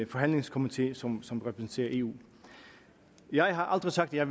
forhandlingskomité som som repræsenterer eu jeg har aldrig sagt at